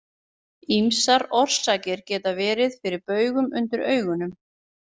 Ýmsar orsakir geta verið fyrir baugum undir augunum.